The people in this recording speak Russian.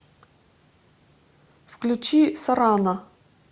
включи сорана